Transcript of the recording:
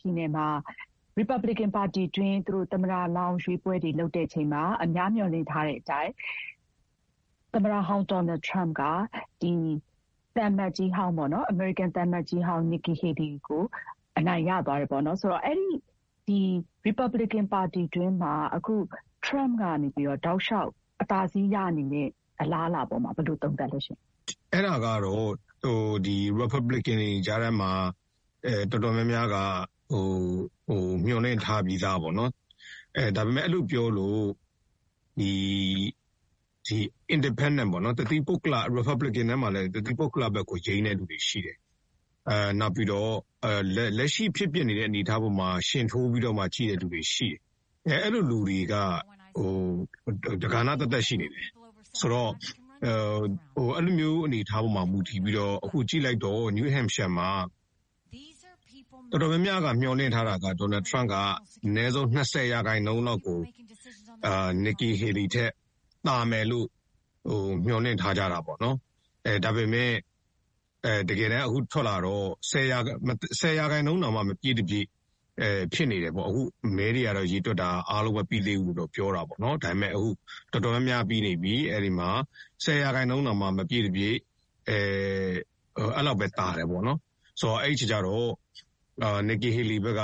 ပြည်နယ်မှာ ရီပတ်ဘလစ်ကန်ပါတီတွင်း သမ္မတလောင်းရွေးပွဲတွေ လုပ်တဲ့အချိန်မှာ အများမျှော်လင့်ထားတဲ့အတိုင်း သမ္မတဟောင်း ဒေါ်နယ်ထရမ့်က အမေရိကန်သံအမတ်ကြီးဟောင်း Nikki Haley ကို အနိုင်ရသွားပါတယ်။ ဆိုတော့ အဲဒီ ရီပတ်ဘလစ်ကန်ပါတီတွင်းမှာ အခု ထရမ့်ကနေပြီးတော့ တောက်လျှောက် အသာစီးရနေတဲ့အလားအလာပေါ်မှာ ဘယ်လို သုံးသပ်လဲရှင့်။ အဲဒါကတော့ ရီပတ်ဘလစ်ကန်တွေကြားထဲမှာ တော်တော်များများက မျှော်လင့်ထားပြီးသားပေါ့နော်၊ ဒါပေမဲ့ အဲလိုပြောလို့ တသီးပုဂ္ဂလပေါ့နော်၊ ရီပတ်ဘလစ်ကန်ထဲမှာလည်း တသီးပုဂ္ဂလဘက်ကို ယိမ်းတဲ့သူတွေရှိတယ်။ နောက်ပြီးတော့လက်ရှိဖြစ်ပျက်နေတဲ့အနေထားပေါ်မှာ ယှဥ်ထိုးပြီးတော့မှ ကြည့်တဲ့လူတွေ ရှိတယ်။ အဲဒီလိုလူတွေက တကဏ္ဍသပ်သပ်ရှိလိမ့်မယ်။ ဆိုတော့ အဲလိုမျိုး အနေအထားပေါ်မှာမူတည်ပြီးတော့ ကြည့်လိုက်တော့ နယူးဟမ့်ရှိုင်းယားမှာ တော်တော်များများက မျှော်လင့်ထားတာက ဒေါ်နယ်ထရမ့်က အနည်းဆုံး ၂၀ % လောက်ကို Nikki Haley ထက်ကို သာမယ်လို့ မျှော်လင့်ထားကြတာပေါ့နော်။ ဒါပေမဲ့ အခု ထွက်လာတော့ ၁၀ % တောင်မှ မပြည့်တပြည့်ဖြစ်နေတယ်ပေါ့။ မဲတွေကတော့ အားလုံးရေတွက်တာ မပြီးသေးဘူးလို့တော့ ပြောတာပေါ့။ ဒါပေမဲ့ တော်တော်များများကတော့ ပြီးနေပြီ၊ အဲဒီမှာ ၁၀ % တောင်မှ မပြည့်တပြည့် အဲလောက်ပဲ သာတယ်ပေါ့နော်။ အဲဒီအခါကျတော့ Nikki Haley ဘက်က